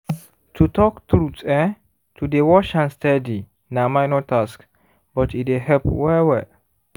to talk truth[um]to dey wash hand steady na minor task but e dey help wel well